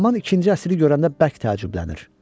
Ataman ikinci əsiri görəndə bərk təəccüblənir.